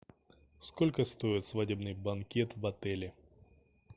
сколько стоит свадебный банкет в отеле